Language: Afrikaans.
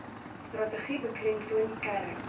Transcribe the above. strategie beklemtoon kern